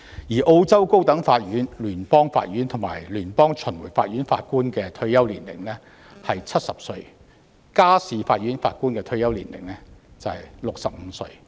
此外，澳洲高等法院、聯邦法院和聯邦巡迴法院法官的退休年齡為70歲，而家事法院法官的退休年齡則為65歲。